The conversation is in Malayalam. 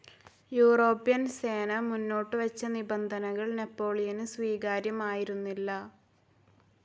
യൂറോപ്യൻ സേന മുന്നോട്ടുവച്ച നിബന്ധനകൾ നെപ്പോളിയന് സ്വീകാര്യമായിരുന്നില്ല.